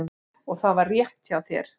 Og það var rétt hjá þér.